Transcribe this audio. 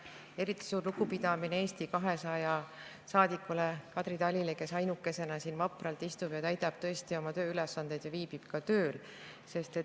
Ja eriti suur lugupidamine Eesti 200 saadikule Kadri Talile, kes ainukesena siin vapralt istub, täidab oma tööülesandeid ja viibib tööl.